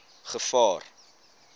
gevaar